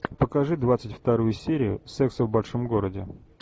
покажи двадцать вторую серию секса в большом городе